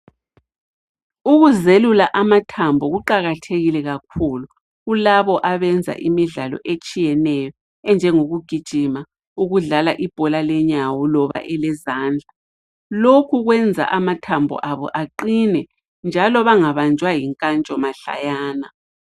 Ukuzelula amathambo kuqakathekile kakhulu kulabo abenza imidlalo etshiyeneyo enjengokugijima, ukudlala ibhola lenyawo loba elezandla. Lokhu kwenza amathambo abo aqine njalo bangabanjwa yinkantsho mahlayana.